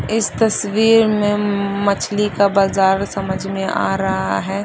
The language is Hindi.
इस तस्वीर में उम्म मछली का बज़ार समझ में आ रहा है।